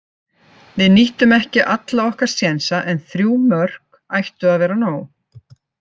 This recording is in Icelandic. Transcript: Við nýttum ekki alla okkar sénsa en þrjú mörk ættu að vera nóg.